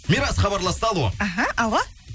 мирас хабарласты алло іхі алло